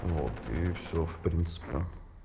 вот и все в принципе